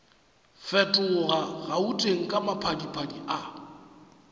fetoga gauteng ka maphadiphadi a